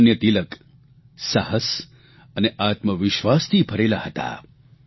લોકમાન્ય તિલક સાહસ અને આત્મવિશ્વાસથી ભરેલા હતા